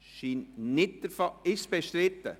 – Ist es bestritten?